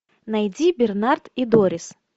найди бернард и дорис